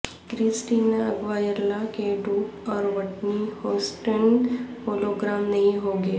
Christina Aguilera کے duet اور Whitney Houston hologram نہیں ہوں گے